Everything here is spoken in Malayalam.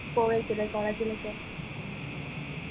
പോയിട്ടില്ല college ലേക്ക്